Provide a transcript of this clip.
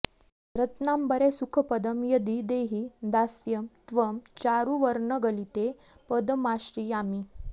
रत्नाम्बरे सुखपदं यदि देहि दास्यं त्वं चारुवर्णगलिते पदमाश्रयामि